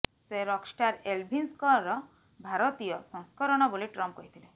ସେ ରକ୍ଷ୍ଟାର୍ ଏଲ୍ଭିସ୍ଙ୍କର ଭାରତୀୟ ସଂସ୍କରଣ ବୋଲି ଟ୍ରମ୍ପ୍ କହିଥିଲେ